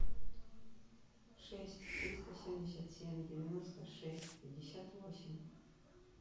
шесть триста семьдесят семь девяносто шесть пятьдесят восемь